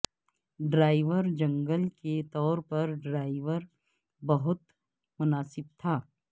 driver جنگل کے طور پر ڈرائیور بہت مناسب تھا